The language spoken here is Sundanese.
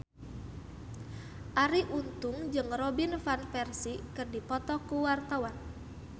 Arie Untung jeung Robin Van Persie keur dipoto ku wartawan